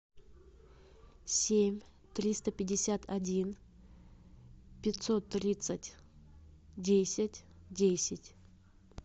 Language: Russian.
семь триста пятьдесят один пятьсот тридцать десять десять